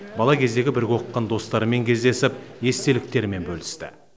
бала кездегі бірге оқыған достарымен кездесіп естеліктерімен бөлісті